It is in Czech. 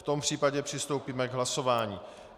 V tom případě přistoupíme k hlasování.